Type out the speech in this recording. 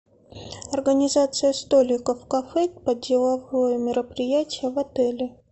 организация столиков в кафе под деловое мероприятие в отеле